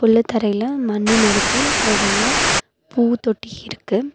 புள்ளு தரையில மண்ணு நெரப்பி நெறையா பூ தோட்டி இருக்கு.